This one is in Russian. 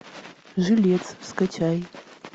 жилец скачай